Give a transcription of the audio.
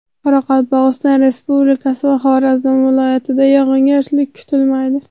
Qoraqalpog‘iston Respublikasi va Xorazm viloyatida yog‘ingarchilik kutilmaydi.